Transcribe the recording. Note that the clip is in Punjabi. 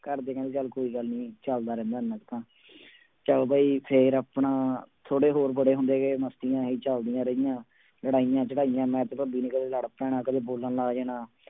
ਘਰਦੇ ਕਹਿੰਦੇ ਚੱਲ ਕੋਈ ਗੱਲ ਨੀ ਚੱਲਦਾ ਰਹਿੰਦਾ ਇੰਨਾ ਕੁ ਤਾਂ ਚੱਲ ਬਈ ਫਿਰ ਆਪਣਾ ਥੋੜ੍ਹੇ ਹੋਰ ਵੱਡੇ ਹੁੰਦੇ ਗਏ ਮਸਤੀਆਂ ਹੀ ਚੱਲਦੀਆਂ ਰਹੀਆਂ, ਲੜਾਈਆਂ ਝੜਾਈਆਂ ਮੈਂ ਤੇ ਭੱਬੀ ਨੇ ਕਦੇ ਲੜ ਪੈਣਾ ਕਦੇ ਬੋਲਣ ਲੱਗ ਜਾਣਾ।